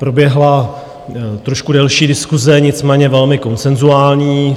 Proběhla trošku delší diskuse, nicméně velmi konsenzuální.